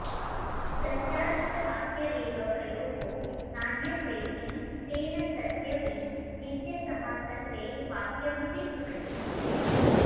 तस्याश्च वाक्य एव प्रयोगो नान्यत्रेति तेन सत्यपि नित्यसमासत्वे वाक्यमपि भवति